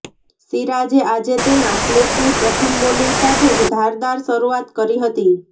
સિરાજે આજે તેના સ્પેલની પ્રથમ બોલીંગ સાથે જ ધારદાર શરુઆત કરી હતી